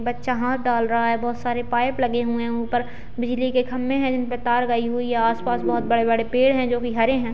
बच्चा हाथ डाल रहा है बहोत सारे पाइप लगे हुए हैं ऊपर बिजली के खम्भे हैं जिनपे तार गई हुई है आस-पास बहोत बड़े-बड़े पेड़ हैं जो की हरे हैं।